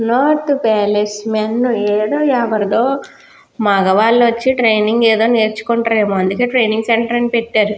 North palace men ఏదో ఎవరిదో మగవాళ్ళు వచ్చి ట్రైనింగ్ ఏదో నేర్చు కొంట్రు ఏమో అందుకే ట్రైనింగ్ సెంటర్ అని పెట్టారు.